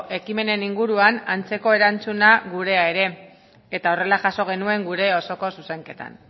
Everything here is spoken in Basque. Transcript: ekimenen inguruan antzeko erantzuna gurea ere eta horrela jaso genuen gure osoko zuzenketan